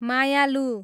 मायालु